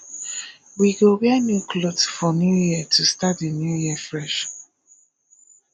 we go wear new clothes for new year to start the year fresh